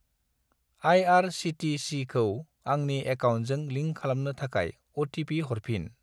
आइ.आर.चि.टि.चि.खौ आंनि एकाउन्टजों लिंक खालामनो थाखाय अ.टि.पि. हरफिन।